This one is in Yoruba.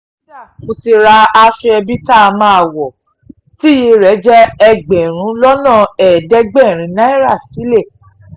kódà mo ti ra aṣọ ẹbí tá a máa wọ̀ tíyẹ́ rẹ̀ jẹ́ ẹgbẹ̀rún lọ́nà ẹ̀ẹ́dẹ́gbẹ̀rin náírà sílẹ̀